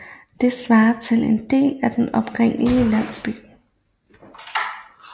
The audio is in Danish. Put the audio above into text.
Det svarer til en del af den oprindelige landsby